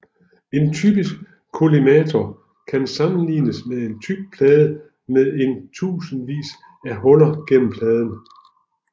En typisk kollimator kan sammenlignes med en tyk plade med en tusindvis af huller gennem pladen